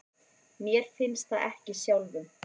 Mér finnst það ekki sjálfum.